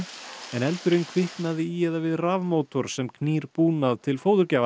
en eldurinn kviknaði í eða við rafmótor sem knýr búnað til